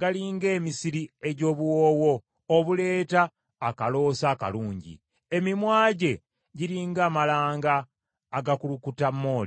gali ng’emisiri egy’obuwoowo, obuleeta akaloosa akalungi. Emimwa gye giri ng’amalanga agakulukuta mooli.